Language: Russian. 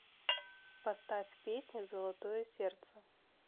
поставь песню золотое сердце